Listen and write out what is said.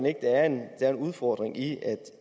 ikke at der er en udfordring i